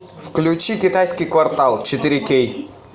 включи китайский квартал четыре кей